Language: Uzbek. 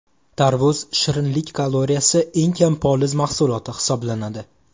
Tarvuz shirinlik kaloriyasi eng kam poliz mahsuloti hisoblanadi.